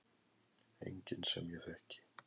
Enginn sem ég þekki.